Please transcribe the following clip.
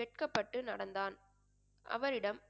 வெட்கப்பட்டு நடந்தான் அவரிடம்